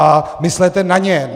A myslete na ně.